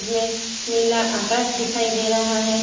मे नीला आकाश दिखाई दे रहा है।